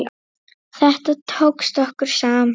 Þetta tókst okkur saman.